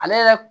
Ale yɛrɛ